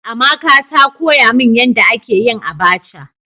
Amaka ta koya min yanda ake yin "abacha".